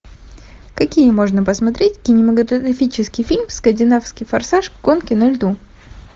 какие можно посмотреть кинематографический фильм скандинавский форсаж гонки на льду